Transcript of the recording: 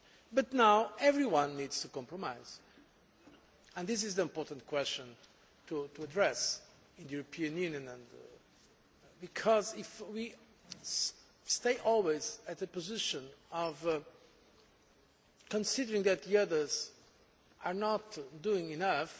But now everyone needs to compromise and this is the important question to address in the European Union, because if we always stay at the position of considering that others are not doing enough,